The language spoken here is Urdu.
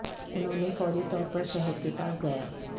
انہوں نے فوری طور پر شہر کے پاس گیا